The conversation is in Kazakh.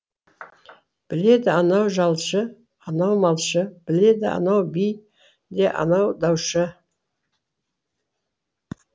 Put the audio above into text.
біледі анау жалшы анау малшы біледі анау би де анау даушы